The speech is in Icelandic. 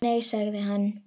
Nei segir hann.